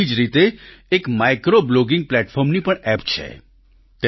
એવી જ રીતે એક માઈક્રો બ્લોગીંગ પ્લેટફોર્મની પણ એપ છે